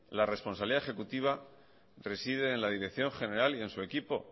la responsabilidad ejecutiva reside en la dirección general y en su equipo